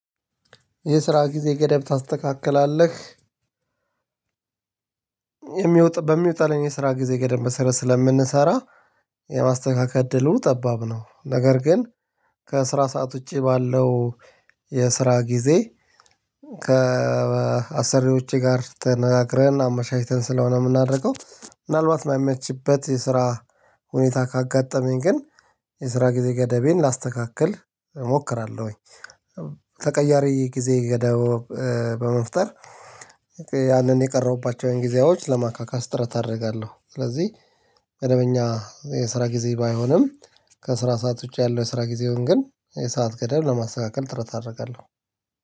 የስራ ጊዜ ገደብ ታስተካክላለህ? በሚወጣልኝ የስራ ጊዜ ገደብ መሰረት ስለምንሰራ የማስተካከል እድሉ ጠባብ ነው። ነገር ግን ከስራ ሰዓት ውጭ ባለው የስራ ጊዜ ከአሰሪዎቼ ጋር ተነጋግረን አመቻችተን ስለሆነ የምናደርገው ምናልባት የማይመችበት የስራ ሁኔታ ካጋጠመኝ ግን የስራ ጊዜ ገደቤን ላስተካክል እሞክራለሁኝ። ተቀያሪ ጊዜ ገደብ በመፍጠር ያንን የቀረሁባቸውን ጊዜዎች ለማካካስ ጥረት አደርጋለሁ። ስለዚህ መደበኛ የስራ ጊዜ ባይሆንም ከስራ ሰዓት ውጪ ያለው የስራ ጊዜውን ግን የሰዓት ገደብ ለማስተካከል ጥረት አደርጋለሁ